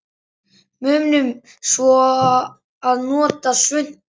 Munum svo að nota svuntu.